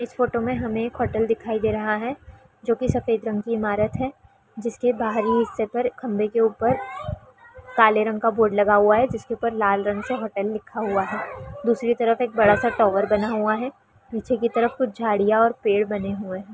इस फोटो में हमें एक होटल दिखाई दे रहा है जो की सफेद रंग की ईमारत है जिसके बाहरी हिस्से पर खम्भे के ऊपर काले रंग का बोर्ड लगा हुआ है जिसके ऊपर लाल रंग से होटल लिखा हुआ है दूसरी तरफ एक बड़ा सा टावर बना हुआ है पीछे के तरफ कुछ झाड़िया और पेड़ बने हुए है ।